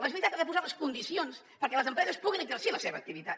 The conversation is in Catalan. la generalitat ha de posar les condicions perquè les empreses puguin exercir la seva activitat